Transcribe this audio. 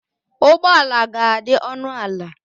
Ụgbọ ala ga-adị ọnụ ala